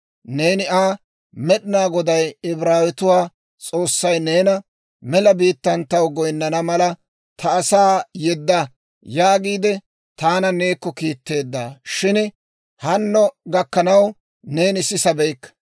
Neeni Aa, ‹Med'inaa Goday, Ibraawetuwaa S'oossay neena, mela biittaan taw goynnana mala, ta asaa yedda yaagiide, taana neekko kiitteedda; shin hanno gakkanaw neeni sisabeykka.